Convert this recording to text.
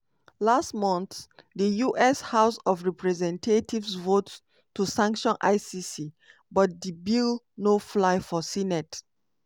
last month di us house of representatives vote to sanction icc but di bill no fly for senate.